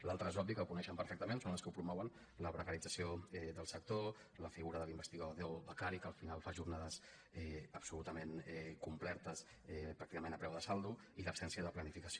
l’altra és obvi que ho coneixen perfectament són els que ho promouen la precarització del sector la figura de l’investigador becari que al final fa jornades absolutament completes pràcticament a preu de saldo i l’absència de planificació